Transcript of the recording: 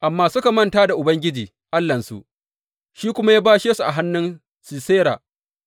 Amma suka manta da Ubangiji Allahnsu, shi kuma ya bashe su a hannun Sisera